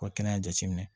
U ka kɛnɛya jateminɛ